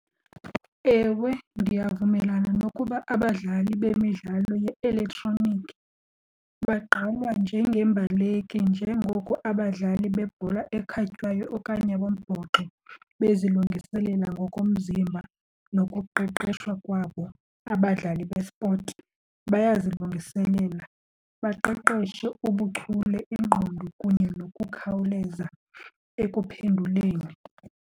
Ewe, ndiyavumelana nokuba abadlali bemidlalo ye-elektroniki bagqalwa njengeembaleki njengoko abadlali bebhola ekhatywayo okanye bombhoxo bezilungiselela ngokomzimba nokuqeqeshwa kwabo. Abadlali bespotsi bayazilungiselela baqeqeshe ubuchule, ingqondo kunye nokukhawuleza ekuphenduleni.